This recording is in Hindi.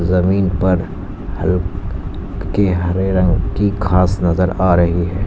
जमीन पर ह ल्के हरे रंग की घास नजर आ रही है।